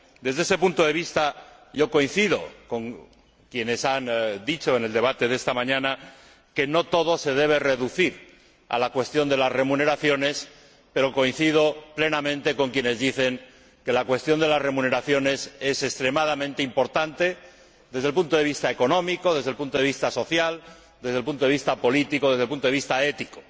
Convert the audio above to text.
Desde este punto de vista, coincido con quienes han dicho en el debate de esta mañana que no todo se debe reducir a la cuestión de las remuneraciones, pero coincido plenamente con quienes dicen que la cuestión de las remuneraciones es extremadamente importante desde el punto de vista económico, desde el punto de vista social, desde el punto de vista político y desde el punto de vista ético.